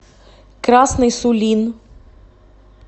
красный сулин